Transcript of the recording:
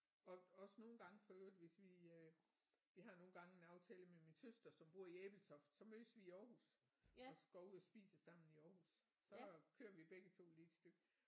Og også nogle gange for øvrigt hvis vi øh vi har nogle gange en aftale med min søster som bor i Ebeltoft så mødes i Aarhus og så går ud og spiser sammen i Aarhus så kører vi begge 2 lige et stykke